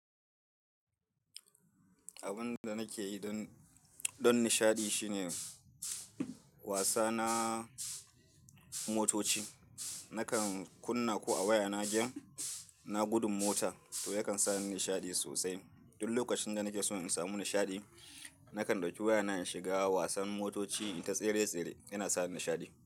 Abin da nake yi don, don nishaɗi shine wasa na motoci. Nakan kunna ko a waya na game na gudun mota to yakan sa ni nishaɗi sosai. Duk lokacin da nake so in samu nishaɗi, nakan ɗauki waya na in shiga wasan motoci inta tsere tsere, yana sa ni nishaɗi.